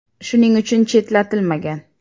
Shuning uchun chetlatilmagan.